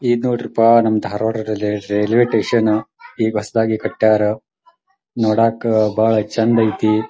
ಇದ್ನೋಡ್ರಿಪ್ಪ ನಮ್ಮ Dharwad rail railway station ಈಗ ಹೊಸ್ದಾಗಿ ಕಟ್ಯಾರ ನೋಡಕ ಭಾಳ ಛಂದೈತಿ .